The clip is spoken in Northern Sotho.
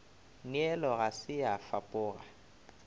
neelo ga se ya fapoga